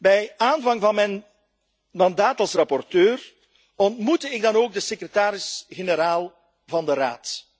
Bij de aanvang van mijn mandaat als rapporteur ontmoette ik dan ook de secretaris generaal van de Raad.